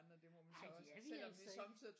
Nej det er vi altså ikke